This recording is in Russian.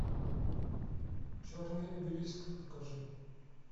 черный обелиск покажи